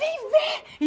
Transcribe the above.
Vem ver!